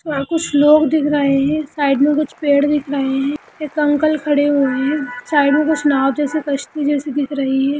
यहां कुछ लोग दिख रहे हैं साइड में कुछ पेड़ दिख रहे हैं एक अंकल खड़े हुए हैं साइड मे कुछ नाव जैसी कश्‍ती जैसी दिख रही है।